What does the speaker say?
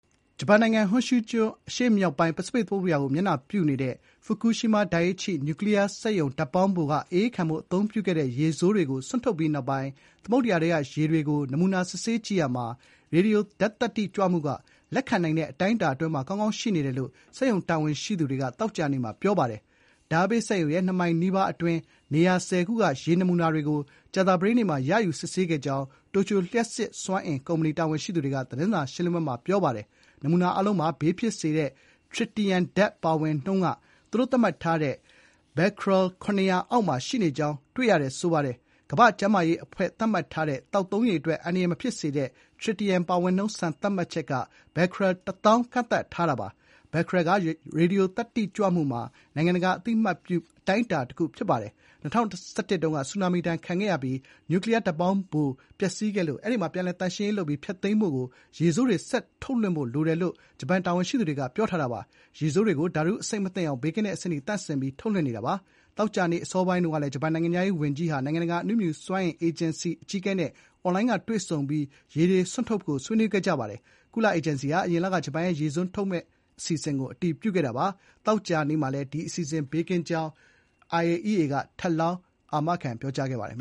ဂျပန်နိုင်ငံ၊ ဟွန်ရှူးကျွန်း အရှေ့မြောက်ပိုင်း ပစိဖိတ်သမုဒ္ဒရာကို မျက်နှာပြုနေတဲ့ ဖူကူရှီးမား ဒိုင်အိချိ နျူကလီးယားစက်ရုံ ဓာတ်ပေါင်းဖိုမှာ အအေးခံဖို့ အသုံးပြုခဲ့တဲ့ ရေဆိုးတွေကို စွန့်ထုတ်ပြီးနောက်ပိုင်း သမုဒ္ဒရာထဲက ရေတွေကို နမူနာ စစ်ဆေးကြည့်ရာမှာ ရေဒီယိုဓာတ်သတ္တိကြွမှုက လက်ခံနိုင်တဲ့ အတိုင်းအတာအတွင်းမှာ ကောင်းကောင်းရှိနေတယ်လို့ စက်ရုံတာဝန်ရှိသူတွေက သောကြာနေ့က ပြောပါတယ်။ ဓာတ်အားပေးစက်ရုံရဲ့ ၂ မိုင်နီးပါးအတွင်း နေရာ ၁၀ ခုက ရေနမူနာတွေကို ကြာသပတေးနေ့မှာ ရယူစစ်ဆေးခဲ့ကြောင်း တိုကျို လျှပ်စစ်စွမ်းအင်ကုမ္ပဏီ တာဝန်ရှိသူတွေက သတင်းစာရှင်းလင်းပွဲမှာ ပြောပါတယ်။ နမူနာအားလုံးမှာ ဘေးဖြစ်စေတဲ့ ထရစ်တီယမ်ဓာတ် (Tritium)ပါဝင်နှုန်းက သူတို့ သတ်မှတ်ထားတဲ့ ဘက်ခရဲလ် (becquerel) ၇၀၀ အောက်မှာ ရှိနေကြောင်း တွေ့ရှိရတယ်လို့ ဆိုပါတယ်။ ကမ္ဘာ့ကျန်းမာရေးအဖွဲ့ သတ်မှတ်ထားတဲ့ သောက်သုံးရေအတွက် အန္တရာယ်မဖြစ်စေတဲ့ ထရစ်တီယမ် ပါဝင်နှုန်း စံသတ်မှတ်ချက်က becquerel ၁၀,၀၀၀ ကန့်သတ်ထားပါတယ်။ becquerel က ရေဒီယိုသတ္တိကြွမှုမှာ နိုင်ငံတကာအသိအမှတ်ပြု အတိုင်းအတာတခုဖြစ်ပါတယ်။ ၂၀၁၁ ခုနှစ် ဆူနာမီတုန်းက ပျက်စီးခဲ့တဲ့ နျူကလီးယားဓာတ်ပေါင်းဖိုကို ပြန်လည် သန့်ရှင်းရေးပြုလုပ်ပြီး ဖျက်သိမ်းဖို့က ရေဆိုးတွေ ဆက်လွှတ်ထုတ်ဖို့ လိုတယ်လို့ ဂျပန်တာဝန်ရှိသူတွေက ပြောပါတယ်။ ရေဆိုးတွေကို ဓာတုအဆိပ် မသင့်အောင် ဘေးကင်းတဲ့ အဆင့်အထိ သန့်စင်ပြီး ထုတ်လွှတ်နေတာပါ။ သောကြာနေ့ အစောပိုင်းက ဂျပန်နိုင်ငံခြားရေးဝန်ကြီး ယိုရှီမာဆာ ဟာယာရှီဟာ နိုင်ငံတကာ အဏုမြူစွမ်းအင် အေဂျင်စီ (IAEA) အကြီးအကဲ ရာဖဲလ် ဂရိုစီ (Rafael Grossi)နဲ့ အွန်လိုင်းကတဆင့် တွေ့ဆုံကာ ရေတွေ စွန့်ထုတ်မှုကို ဆွေးနွေးခဲ့ကြပါတယ်။ ကုလအေဂျင်စီဟာ အရင်လက ဂျပန်ရဲ့ ရေဆိုးထုတ်လွှတ်မယ့် အစီအစဥ◌်ကို အတည်ပြုခဲ့တာပါ။ သောကြာနေ့မှာလည်း ဒီအစီအစဥ် ဘေးကင်းကြောင်း ဂရိုစီက ထပ်လောင်း ပြောခဲ့ပါတယ်